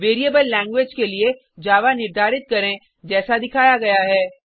variable language के लिए Java निर्धारित करें जैसा दिखाया गया है